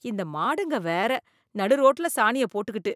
இந்த மாடுங்க வேற! நடு ரோட்டுல சாணியைப் போட்டுக்கிட்டு!